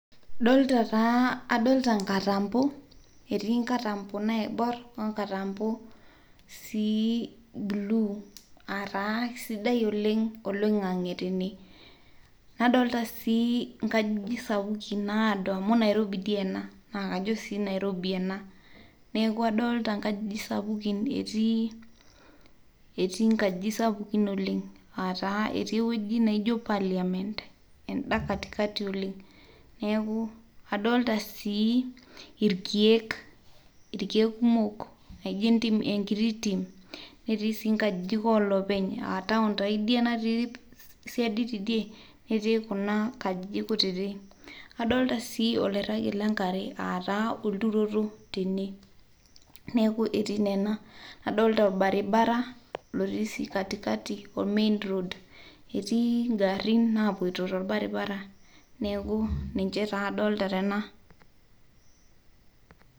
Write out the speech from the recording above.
Adolita taa inkatambo, etii inkatambo naibuarr nadolita sii buluu aataa esidai oleng oloing'ang'e tene, nadolita sii nkajijik sapuki naodo amu Nairobi dei ana naa kajo sii enairobi ena, neaku adolita nkajijik sapuki etii nkajijik sapuki olenga aataa etii weji naijo parliament enda katikati oleng neaku adolita sii irkeek kumok enkiti tim, netii sii nkajijik oloopeny aataon taa idia natii siaid teidie ,netii kuna kajijik kutitim, adolita sii olairagi le enkare aataa olturoto tene neaku etii nena, adolita orbaribara lotii sii katikati main road etii ing'arrin naapoto te irbaribara neaku niche taa adolita tena.